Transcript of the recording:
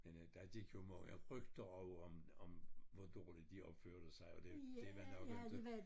Men øh der gik jo mange rygter over om om hvor dårligt de opførte sig og det det var nok inte